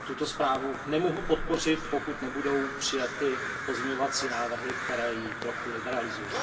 Tuto zprávu nemohu podpořit, pokud nebudou přijaty pozměňovací návrhy, které ji trochu liberalizují.